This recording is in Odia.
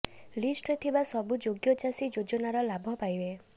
ଲିଷ୍ଟରେ ଥିବା ସବୁ ଯୋଗ୍ୟ ଚାଷୀ ଯୋଜନାର ଲାଭ ପାଇବେ